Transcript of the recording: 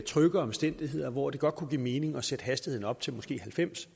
trygge omstændigheder og hvor det godt kunne give mening at sætte hastigheden op til måske halvfems